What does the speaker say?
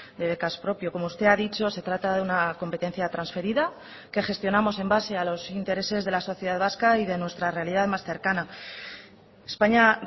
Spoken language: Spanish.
de becas propio como usted ha dicho se trata de una competencia transferida que gestionamos en base a los intereses de la sociedad vasca y de nuestra realidad más cercana españa